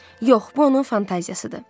Yox, bu onun fantaziyasıdır.